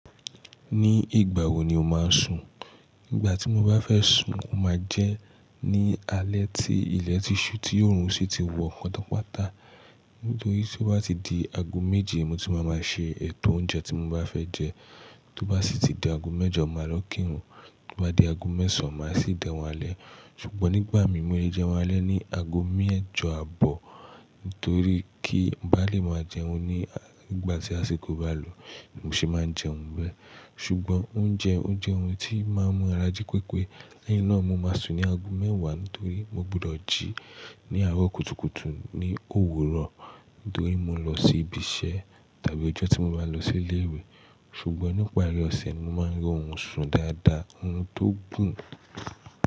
Ní ìgbà wo ni o máa ń sùn? Igbà tí mo bá fẹ́ sùn, o ma jẹ ní alẹ́ tí ilẹ̀ ti ṣú, tí òòrùn sì ti wọ patapata. Nítorí tí ó bá ti di aago méje mo tí máa máa ṣe ètò oúnjẹ tí mo bá fẹ́ jẹ. To bá sì ti di aago mẹ́jọ, màá lọ kírun. Tó bá di aago mẹ́sàn án, màá sì jẹ́un alẹ́. Ṣùgbọ́n nígbà mí e jẹun alẹ́ ní aago mẹ́jọ àbọ̀, nítorí kí n bá lè máa jẹun ní nigbà tí àsìkò bá lò. Mo sì máa ń jẹun bẹ́ẹ̀. Ṣùgbọ́n ounje ó jẹ́ ohun tí máa ń mú ara jí pepé. Lẹ́yìn náà mo má sùn ní aago mẹ́wàá nítorí mo gbọdọ̀ jí ní àárọ̀ kùtùkùtù ní òwúrọ̀. Nítorí mo ń lọ sí ibi iṣẹ́ tàbí ọjọ́ tí mo bá lọ sí ilé ìwé. Ṣùgbọ́n ní pari ọ̀sẹ̀, mo máa ń rí orun sùn dáadáa, orun tó gùn.